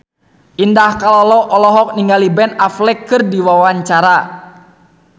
Indah Kalalo olohok ningali Ben Affleck keur diwawancara